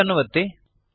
save ಅನ್ನು ಒತ್ತಿ